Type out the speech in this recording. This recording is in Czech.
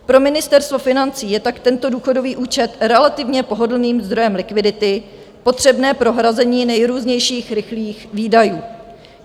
Pro Ministerstvo financí je tak tento důchodový účet relativně pohodlným zdrojem likvidity potřebné pro hrazení nejrůznějších rychlých výdajů.